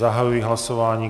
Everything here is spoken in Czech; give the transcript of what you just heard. Zahajuji hlasování.